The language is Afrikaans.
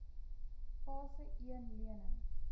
fase een lenings